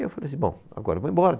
E eu falei assim, bom, agora vou embora.